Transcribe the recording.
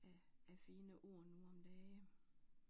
Af af fine ord nu om dage